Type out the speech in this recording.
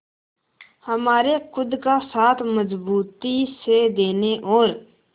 हमारे खुद का साथ मजबूती से देने और